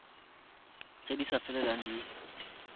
tse di sa felelang di